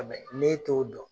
N'e t'o dɔn